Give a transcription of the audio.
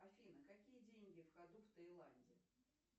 афина какие деньги в ходу в тайланде